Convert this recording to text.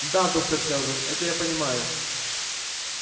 да доктор кэлвин это я понимаю